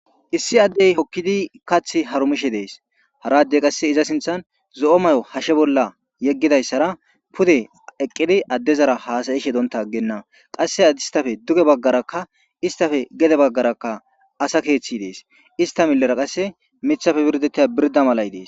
issi addey hokkidi kath harumishe dees haraddey qasse iza sinthan zo7o mayo hashe bolla yeggidayssara pude eqqidi addezara haasayishe donta aggenna qasse addi istafe duge baggarakka istafe gede baggaraka asa keeththi dees ista milera qasse mithafe birdettiya birda malay dees